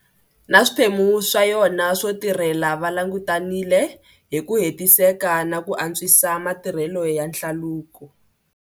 Na swiphemu swa yona swo tirhela va langutanile hi ku hetiseka na ku antwisa matirhelo ya hlaluko.